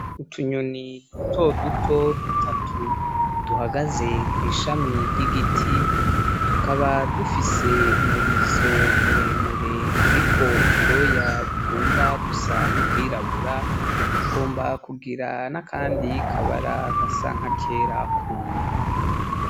Utunyoni dutoduto dutatu, duhagaze kwishami ry'igiti, tukaba dufise umurizo muremure uriko ubwoya bugomba gusa n'ubwirabura, bukagomba kugira n'akandi kabara gasa nkakera kunda.